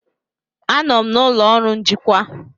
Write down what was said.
Anọ m n'ụlọ ọrụ njikwa.